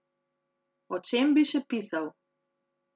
O čem bi še pisal?